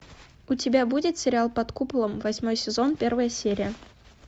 у тебя будет сериал под куполом восьмой сезон первая серия